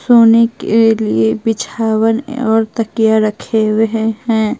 सोने के लिए बिछावन और तकिया रखे हुए हैं।